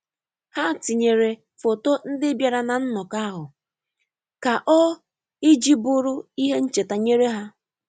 Ha tinyere foto ndị biara na nnọkọ ahụ ka o iji bụrụ ihe ncheta nyere ya.